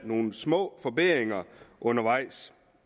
nogle små forbedringer undervejs